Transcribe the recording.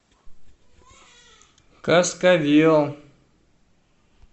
каскавел